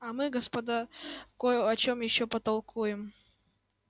а мы господа кой о чём ещё потолкуем